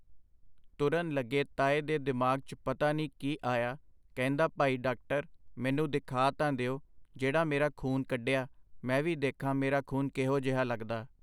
ਤੁਰਨ ਲੱਗੇ ਤਾਏ ਦੇ ਦਿਮਾਗ 'ਚ ਪਤਾ ਨੀ ਕੀ ਆਇਆ ਕਹਿੰਦਾ ਭਾਈ ਡਾਕਟਰ ਮੈਨੂੰ ਦਿਖਾ ਤਾਂ ਦਿਓ ਜਿਹੜਾ ਮੇਰਾ ਖੂਨ ਕੱਢਿਆ ਮੈਂ ਵੀ ਦੇਖਾ ਮੇਰਾ ਖੂਨ ਕਿਹੋ ਜੇਹਾ ਲਗਦਾ.